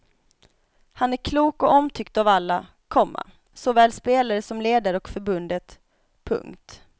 Han är klok och omtyckt av alla, komma såväl spelare som ledare och förbundet. punkt